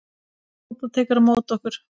Tóta tekur á móti okkur.